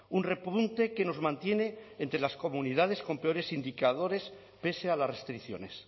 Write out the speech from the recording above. un repunte que nos mantiene entre las comunidades con peores indicadores pese a las restricciones